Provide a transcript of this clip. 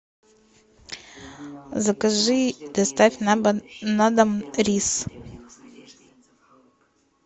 закажи доставь на дом рис